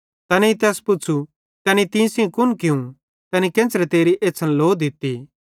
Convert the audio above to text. तैनेईं तैस पुच़्छ़ू तैने तीं सेइं कुन कियूं तैनी केन्च़रे तेरी एछ़्छ़न लो दित्ती